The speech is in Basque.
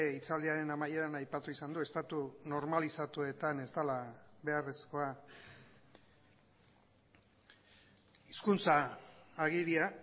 hitzaldiaren amaieran aipatu izan du estatu normalizatuetan ez dela beharrezkoa hizkuntza agiria